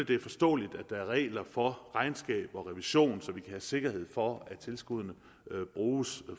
det er forståeligt at der er regler for regnskab og revision så vi kan have sikkerhed for at tilskuddene bruges